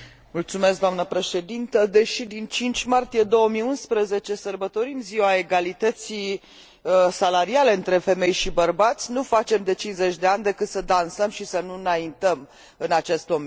Deși din 5 martie 2011 sărbătorim ziua egalității salariale între femei și bărbați nu facem, de cincizeci de ani, decât să dansăm și să nu înaintăm în acest domeniu.